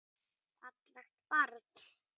Fallegt barn.